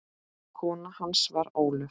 Kona hans var Ólöf